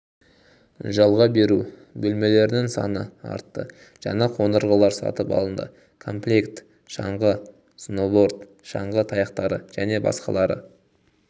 жалағ беру бөлмелерінің саны артты жаңа қондырғылар сатып алынды комплект шаңғы сноубордв шаңғы таяқтары және басақалары